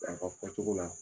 A ka fɔ cogo la